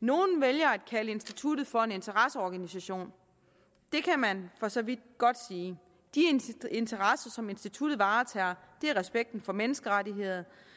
nogle vælger at kalde instituttet for en interesseorganisation og det kan man for så vidt godt sige de interesser som instituttet varetager er respekten for menneskerettighederne